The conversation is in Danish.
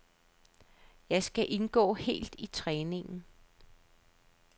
Jeg skal indgå helt i træningen.